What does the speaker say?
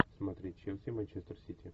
смотреть челси манчестер сити